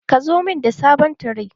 Ka zo mun da sabon tire.